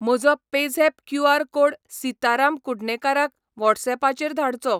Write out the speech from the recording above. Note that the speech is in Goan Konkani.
म्हजो पेझॅप क्यू.आर. कोड सिताराम कुडणेकाराक व्हॉट्सऍपाचेर धाडचो